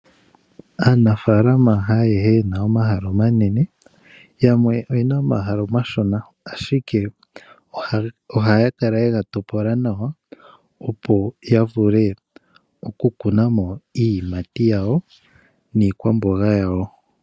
Aanafaalama haayehe yena omahala omanene yamwe oyena omahala omashona, ashike ohaya kala ye ga topola nawa opo ya vule okukuna mo iiyimati yawo niikwamboga yawo.